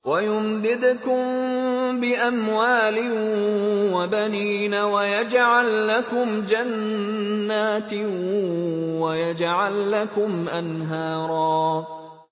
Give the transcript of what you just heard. وَيُمْدِدْكُم بِأَمْوَالٍ وَبَنِينَ وَيَجْعَل لَّكُمْ جَنَّاتٍ وَيَجْعَل لَّكُمْ أَنْهَارًا